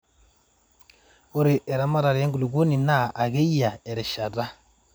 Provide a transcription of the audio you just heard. ore eramatare enkuluponi naa akeyie erishata